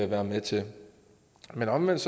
være med til men omvendt